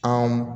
Anw